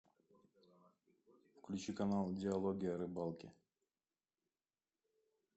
включи канал диалоги о рыбалке